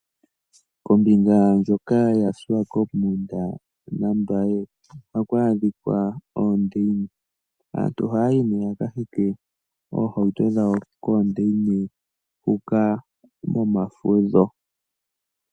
Kombinga ndjoka yaSwakopmund naMbaye ohaku adhika oondeina. Aantu ohaya yi nduno ya ka hinge oohauto dhawo koondeina huka momafudho.